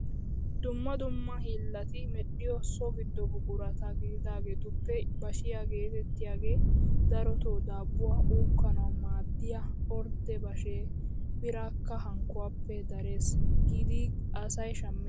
Dumma dumma hiillati medhiyo so giddo buqurata gididagetuppe bashiyaa getettiyaage darotoo daabbuwaa uukkananwu maaddiyaa ordde bashshee biraakka hankkuwaappe darees giidi asay shammees!